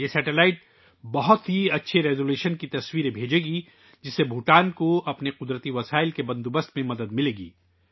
یہ سیٹلائٹ بہت اچھی ریزولوشن کی تصاویر بھیجے گا ، جس سے بھوٹان کو اس کے قدرتی وسائل کے انتظام میں مدد ملے گی